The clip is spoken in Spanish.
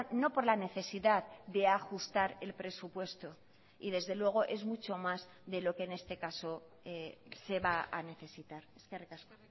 no por la necesidad de ajustar el presupuesto y desde luego es mucho más de lo que en este caso se va a necesitar eskerrik asko